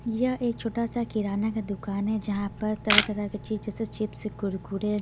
यह एक छोटा सा किराना का दुकान है जहां पर तरह-तरह के चीज जैसे चिप्स कुरकुरे--